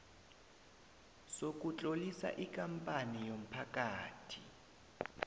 sokutlolisa ikampani yomphakathi